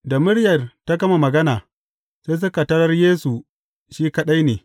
Da muryar ta gama magana, sai suka tarar Yesu shi kaɗai ne.